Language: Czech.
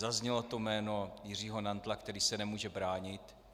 Zaznělo tu jméno Jiřího Nantla, který se nemůže bránit.